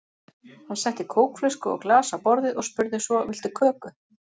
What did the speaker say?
Hann setti kókflösku og glas á borðið og spurði svo: Viltu köku?